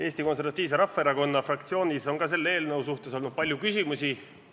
Eesti Konservatiivse Rahvaerakonna fraktsioonis on ka selle eelnõu suhtes olnud palju küsimusi.